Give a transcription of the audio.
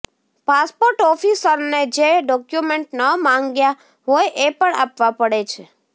passport ઓફિસરને જે document ન માંગ્યા હોય એ પણ આપવા પડે છે